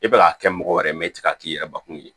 I bɛ k'a kɛ mɔgɔ wɛrɛ ye i tɛ se k'a k'i yɛrɛ bakun ye